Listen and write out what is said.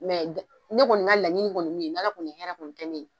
ne kɔni ka laɲini kɔni ye min ye n'ALA kɔni ye hɛrɛ kɔni Kɛ ne.